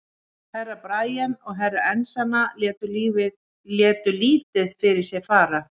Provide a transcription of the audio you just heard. Herra Brian og Herra Enzana létu lítið fyrir sér fara.